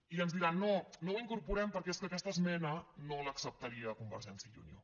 i ens diran no no ho incorporem perquè és que aquesta esmena no l’acceptaria convergència i unió